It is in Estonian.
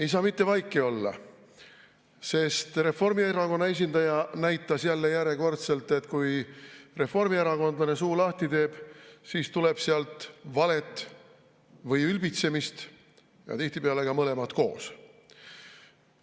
Ei saa mitte vaiki olla, sest Reformierakonna esindaja näitas jälle, järjekordselt, et kui reformierakondlane suu lahti teeb, siis tuleb sealt valet või ülbitsemist, tihtipeale ka mõlemat koos.